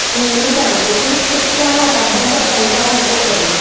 नेहमी सांगते की शिक्षणात अभ्यासात कंटाळा नको करूस